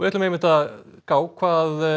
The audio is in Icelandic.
líta á hvað